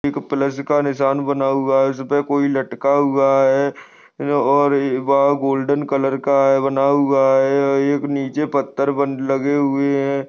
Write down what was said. एक प्लस निशान बना हुआ है इसपे कोई लटका हुआ है और वह गोल्डेन कलर का बना हु है ये एक नीचे पत्थर बन लगे हुए है।